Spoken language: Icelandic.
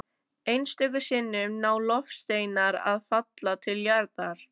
Einstöku sinnum ná loftsteinar að falla til jarðar.